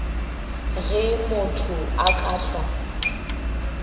ge motho a ka hlwa